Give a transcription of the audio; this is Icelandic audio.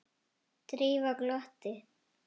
Drífa glotti.